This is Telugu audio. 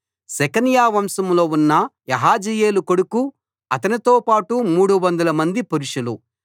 షెకన్యా వంశంలో ఉన్న యహజీయేలు కొడుకు అతనితో పాటు 300 మంది పురుషులు